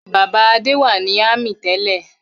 Bàbá Adé wà ní ámì tẹ́lẹ̀.